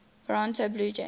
toronto blue jays